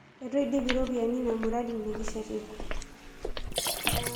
Eitu iidip iropiyiani ina muradi nikishetita